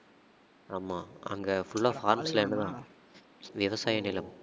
ஆமா அங்க full ஆ forest land தான் விவசாய நிலம்